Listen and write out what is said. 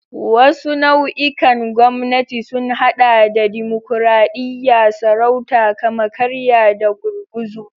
Wasu nau'ikan gwamnati sun haɗa da dimokuradiyya, sarauta, kama-karya, da gurguzu.